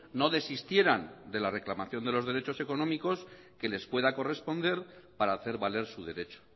no desistieran de la reclamación de los derechos económicos que les pueda corresponder para hacer valer su derecho